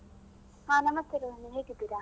ಹಾ ನಮಸ್ತೇ ರೋಹಿಣಿ ಹೇಗಿದ್ದೀರಾ?